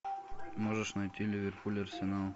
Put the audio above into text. можешь найти ливерпуль арсенал